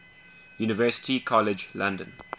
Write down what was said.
university college london